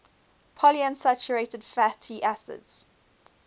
polyunsaturated fatty acids